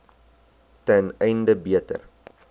ten einde beter